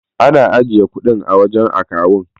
Ana ajiye kudin a wajan akawun